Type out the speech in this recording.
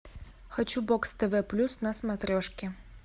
хочу бокс тв плюс на смотрешке